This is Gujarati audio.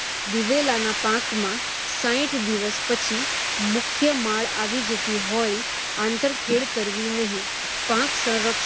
દિવેલાના પાકમાં સાઠ દિવસ પછી મુખ્ય માળ આવી જતી હોય, આંતરખેડ કરવી નહીં. પાક સંરક્ષણ